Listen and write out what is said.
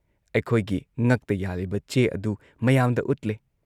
ꯑꯩꯈꯣꯏꯒꯤ ꯉꯛꯇ ꯌꯥꯜꯂꯤꯕ ꯆꯦ ꯑꯗꯨ ꯃꯌꯥꯝꯗ ꯎꯠꯂꯦ ꯫